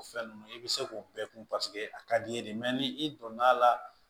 O fɛn ninnu i bɛ se k'o bɛɛ kun paseke a ka d'i ye de ni i donn'a la